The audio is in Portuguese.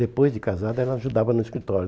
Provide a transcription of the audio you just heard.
Depois de casada, ela ajudava no escritório.